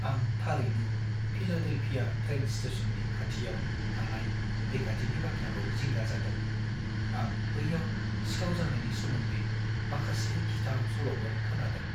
आं थारैनो Philadelphia train स्टेशननि खाथियाव थानाय रैखाथिनि बाथ्राखौ जिंगा जादों; आं बैयाव सिखाव जानायनि सोमोन्दै माखासे गिथाव सल'फोर खोनादों।